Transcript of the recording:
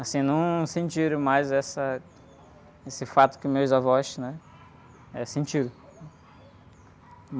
Assim, não sentiram mais essa, esse fato que meus avós, né? Eh, sentiram.